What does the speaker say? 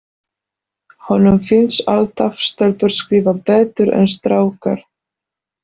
Honum finnst alltaf stelpur skrifa betur en strákar.